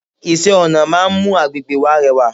Iṣẹ́-ọ̀nà máa ń mú àgbègbè wa rẹwà.